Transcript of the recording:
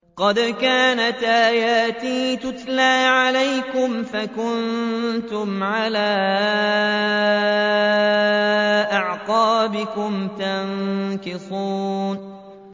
قَدْ كَانَتْ آيَاتِي تُتْلَىٰ عَلَيْكُمْ فَكُنتُمْ عَلَىٰ أَعْقَابِكُمْ تَنكِصُونَ